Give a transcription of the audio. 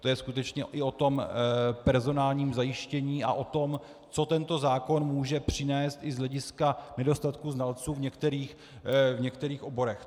To je skutečně i o tom personálním zajištění a o tom, co tento zákon může přinést i z hlediska nedostatku znalců v některých oborech.